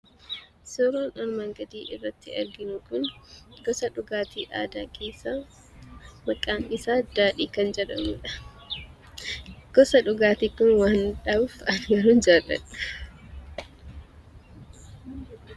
Suuraan armaan gadii irratti arginu kun gosa dhugaatii aadaa keessaa maqaansaa daadhii kan jedhamudha. Gosti dhugaatii kun waan mi'aawuuf ani baay'een jaalladha.